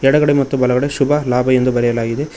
ಎಡಗಡೆ ಮತ್ತು ಬಲಗಡೆ ಶುಭ ಲಾಭ ಎಂದು ಬರೆಯಲಾಗಿದೆ.